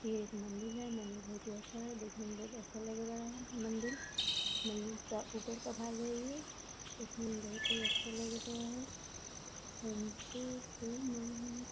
ये एक मंदिर है मंदिर बहुत ही अच्छा है देखने में बहुत अच्छा लग रहा है मंदिर मंदिर का ऊपर का भाग है ये इसमें अच्छा लग रहा है --